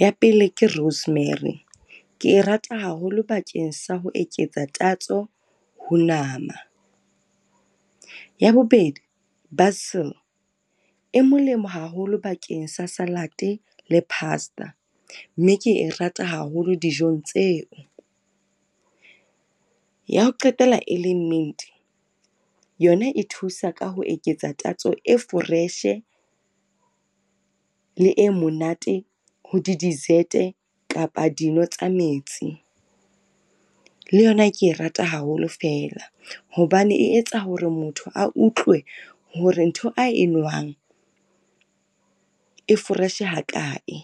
ya pele ke Rosemary, ke e rata haholo bakeng sa ho eketsa tatso ho nama. Ya bobedi e molemo haholo bakeng sa salad-e le pasta, mme ke e rata haholo dijong tseo. Ya ho qetela e leng mint yona e thusa ka ho eketsa tatso e fresh-e le e monate ho di-desert-e kapa dino tsa metsi. Le yona ke e rata haholo feela, hobane e etsa hore motho a utlwe hore ntho a enwang e foreshe hakae.